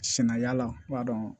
Sɛnɛ y'a ladɔn